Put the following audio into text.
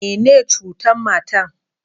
Me ne ciutan matan?